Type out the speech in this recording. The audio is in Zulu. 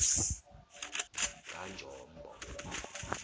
kanjombo